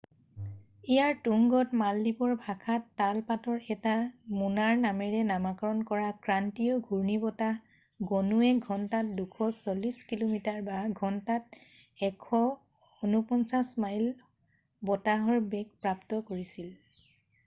ইয়াৰ তুংগত মালদ্বীপৰ ভাষাত তাল পাতৰ এটা মোনাৰ নামেৰে নামাকৰণ কৰা ক্ৰান্তীয় ঘূৰ্ণী বতাহ গণুৱে ঘন্টাত 240 কিল’মিটাৰৰঘন্টাত 149 মাইল বতাহৰ বেগ প্ৰাপ্ত কৰিছিল।